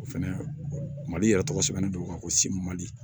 O fɛnɛ mali yɛrɛ tɔgɔ sɛbɛnnen do ko